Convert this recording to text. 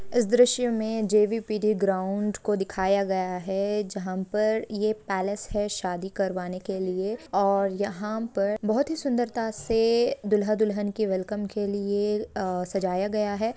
इस द्रश्य में जे.पी.डी . ग्रॉउंड को दिखाया गया है जहाँ पर ये पेलेस है शादी करवाने के लिए और यहाँ पर बहुत ही सुन्दरता से दुल्हा दुल्हन के वेलकम के लिए सजाया गया है।